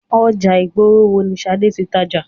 Ọjà ìgboro wo ni Ṣadé tí ń tàjà?